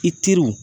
I teriw